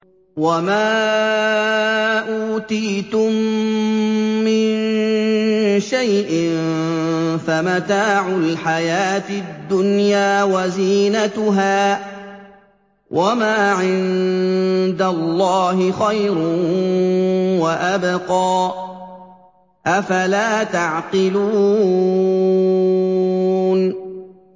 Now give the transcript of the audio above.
وَمَا أُوتِيتُم مِّن شَيْءٍ فَمَتَاعُ الْحَيَاةِ الدُّنْيَا وَزِينَتُهَا ۚ وَمَا عِندَ اللَّهِ خَيْرٌ وَأَبْقَىٰ ۚ أَفَلَا تَعْقِلُونَ